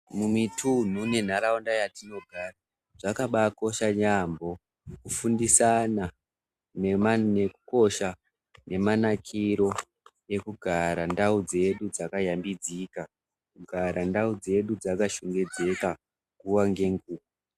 Mumitumhu nenharaunda yatinogara, zvakabaakosha yaampho, kufundisana nema nekukosha nekunakiro ,ekugara ndau dzedu dzakayambudzika ,kugara ndau dzakashongedzeka nguwa ngenguwa.